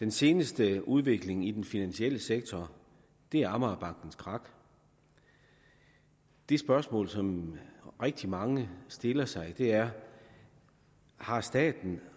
den seneste udvikling i den finansielle sektor er amagerbankens krak det spørgsmål som rigtig mange stiller sig er har staten